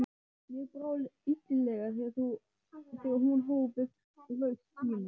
Mér brá illilega þegar hún hóf upp raust sína